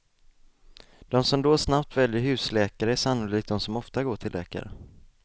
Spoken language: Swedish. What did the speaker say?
De som då snabbt väljer husläkare är sannolikt de som ofta går till läkare.